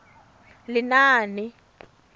lenaane